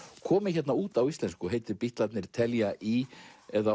komið út á íslensku og heitir Bítlarnir telja í eða